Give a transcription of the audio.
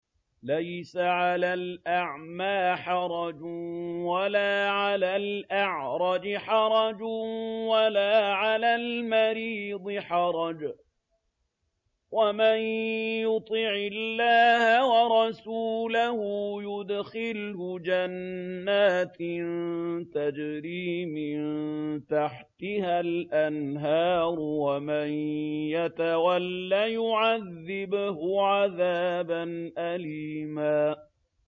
لَّيْسَ عَلَى الْأَعْمَىٰ حَرَجٌ وَلَا عَلَى الْأَعْرَجِ حَرَجٌ وَلَا عَلَى الْمَرِيضِ حَرَجٌ ۗ وَمَن يُطِعِ اللَّهَ وَرَسُولَهُ يُدْخِلْهُ جَنَّاتٍ تَجْرِي مِن تَحْتِهَا الْأَنْهَارُ ۖ وَمَن يَتَوَلَّ يُعَذِّبْهُ عَذَابًا أَلِيمًا